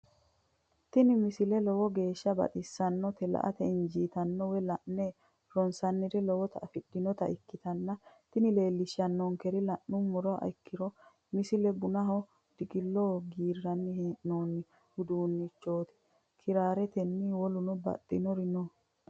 tini misile lowo geeshsha baxissannote la"ate injiitanno woy la'ne ronsannire lowote afidhinota ikkitanna tini leellishshannonkeri la'nummoha ikkiro tini misile bunaho, diqillo giirranni hee'noonni uduunnichooti kiraaretenna woluno baxxinori no.